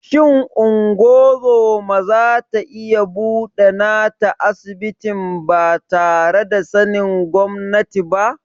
Shin ungozoma zata iya buɗe nata asibitin batare da sanin gwamnati ba?